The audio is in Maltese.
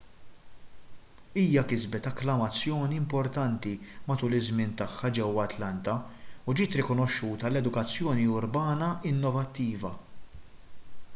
hija kisbet akklamazzjoni importanti matul iż-żmien tagħha ġewwa atlanta u ġiet rikonoxxuta għal edukazzjoni urbana innovattiva